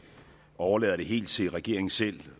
overlader det helt til regeringen selv